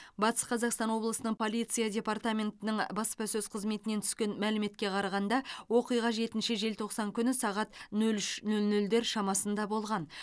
батыс қазақстан облысының полиция департаментінің баспасөз қызметінен түскен мәліметке қарағанда оқиға жетінші желтоқсан күні сағат нөл үш нөл нөлдер шамасында болған